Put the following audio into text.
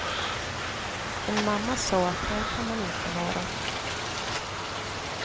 En mamma sa att här kan man inte vara.